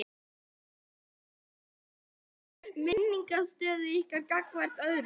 Kristján: En skaðar þetta samningsstöðu ykkar gagnvart öðrum?